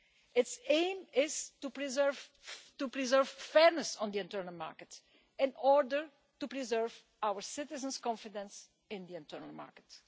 its aim is to preserve fairness on the internal market, in order to preserve our citizens' confidence in the internal market.